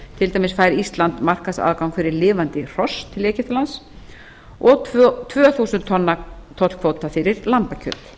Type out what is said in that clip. til dæmis fær íslands markaðsaðgang fyrir lifandi hross til egyptalands og tvö þúsund tonna tollkvóta fyrir lambakjöt